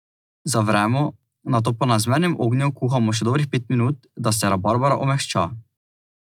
Zavremo, nato pa na zmernem ognju kuhamo še dobrih pet minut, da se rabarbara omehča.